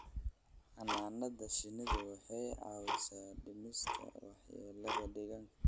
Xannaanada shinnidu waxay caawisaa dhimista waxyeelada deegaanka.